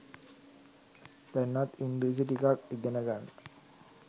දැන්වත් ඉංග්‍රීසි ටිකක් ඉගෙන ගන්න.